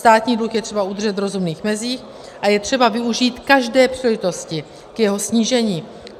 Státní dluh je třeba udržet v rozumných mezích a je třeba využít každé příležitosti k jeho snížení.